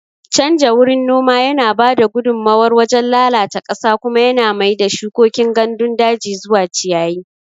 Canja wurin noma yana ba da gudummawar wajen lalata ƙasa kuma yana mai da shukokin gandun daji zuwa ciyayi.